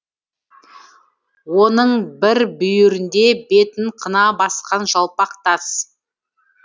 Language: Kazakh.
оның бір бүйірінде бетін қына басқан жалпақ тас